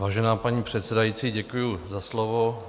Vážená paní předsedající, děkuji za slovo.